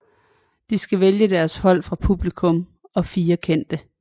De skulle vælge deres hold fra publikum og 4 kendte